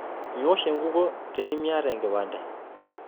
Miwosh enkukuo tinimiata enkipante.